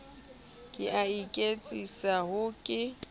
ke a iketsisa ha ke